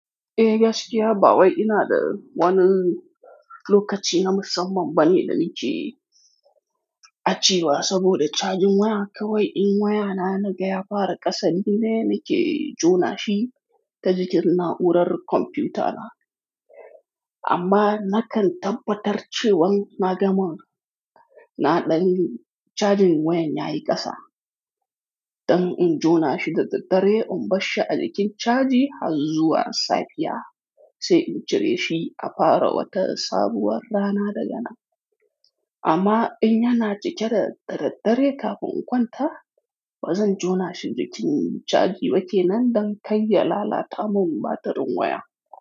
Eh gaskiya ba wai ina da wani lokaci na musamman bane da nake a cewa saboda charging waya kawai in waya na yana gaya fara ƙasa nine nake jona shi ta jikin na'urar kwamfiyuta na. Amma nakan tabbatar cewan na gama naɗan charging wayan yayi ƙasa. Ɗan in jona shi da daddare in barshi a jikin caji har zuwa safiya sai in cire shi a fara wata sabuwar rana da ganan amma in yana cike da daddare kafin in kwanta, bazan jona shi jikin caji ba kenan dan kai ya lalata min batirin waya.